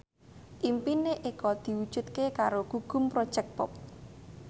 impine Eko diwujudke karo Gugum Project Pop